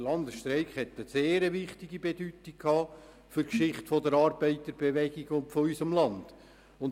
Der Landesstreik hatte eine sehr wichtige Bedeutung für die Geschichte der Arbeiterbewegung und unseres Landes.